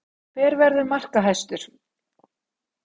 Hver verður markahæstur?